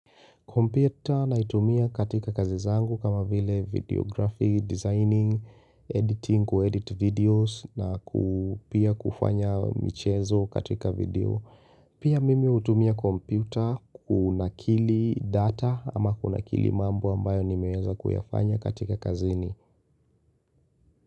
Kompyuta naitumia katika kazi zangu kama vile videography, designing, editing, kuedit videos na pia kufanya michezo katika video. Pia mimi hutumia kompyuta kunakili data ama kunakili mambo ambayo nimeweza kuyafanya katika kazini.